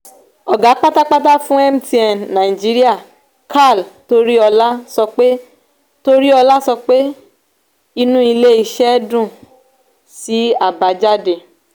oga pátápátá fún mtn naijiriya karl toriola sọ pé toriola sọ pé inú ilé-isé dùn sí àbájáde.